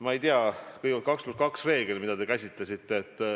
Ma ei tea, kõigepealt 2 + 2 reegel, mida te nimetasite.